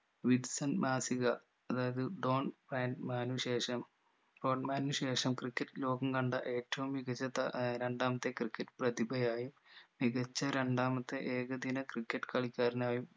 വിറ്റ്‌സൺ മാസിക അതായത് ഡോൺ ഫൻമാനു ശേഷം ഫോർഡ്മാനു ശേഷം ക്രിക്കറ്റ് ലോകം കണ്ട ഏറ്റവും മികച്ച താ ഏർ രണ്ടാമത്തെ ക്രിക്കറ്റ് പ്രതിഭയായും മികച്ച രണ്ടാമത്തെ ഏകദിന ക്രിക്കറ്റ് കളിക്കാരനായും